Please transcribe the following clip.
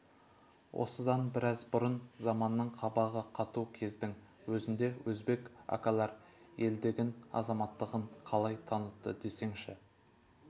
осыдан браз бұрын заманның қабағы қату кездің өзінде өзбек акалар елдігін азаматтығын қалай танытты десеңші